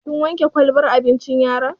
Kin wanke kwalbar abincin yaron?